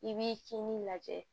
I b'i kinin lajɛ